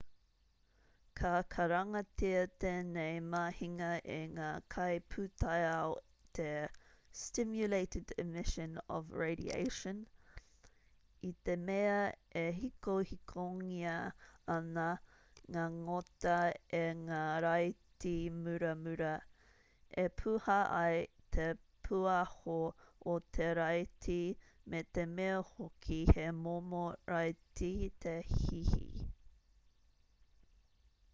ka karangatia tēnei mahinga e ngā kaipūtaiao te stimulated emission of radiation i te mea e hikohikongia ana ngā ngota e ngā raiti muramura e puha ai te pūaho o te raiti me te mea hoki he momo raiti te hihi